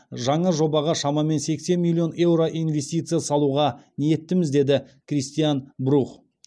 жаңа жобаға шамамен сексен миллион еуро инвестиция салуға ниеттіміз деді кристиан брух